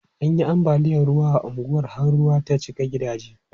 An yi ambaliyan ruwa a unguwan har ruwa ta cika gidajen.